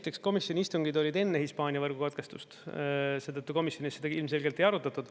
Esiteks, komisjoni istungid olid enne Hispaania võrgukatkestust, seetõttu komisjonis seda ilmselgelt ei arutatud.